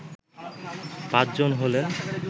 পাঁচজন হলেন